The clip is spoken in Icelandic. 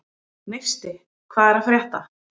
Neisti, hvað er að frétta?